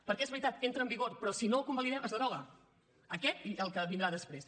perquè és veritat entra en vigor però si no el convalidem es deroga aquest i el que vindrà després